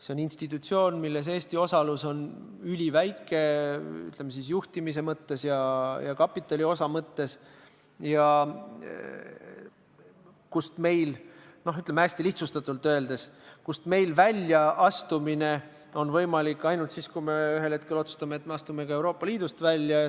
See on institutsioon, milles Eesti osalus on üliväike, ütleme, juhtimise ja kapitaliosa mõttes, ning kust meie välja astumine hästi lihtsustatult öeldes on võimalik ainult siis, kui me ühel hetkel otsustame, et me astume ka Euroopa Liidust välja.